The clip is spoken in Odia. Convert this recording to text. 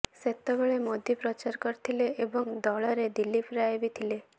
ସେତେବେଳେ ମୋଦି ପ୍ରଚାର କରିଥିଲେ ଏବଂ ଦଳରେ ଦିଲ୍ଲୀପ ରାୟ ବି ଥିଲେ